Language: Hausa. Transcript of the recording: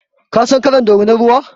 Ka san kalar dorinan ruwa?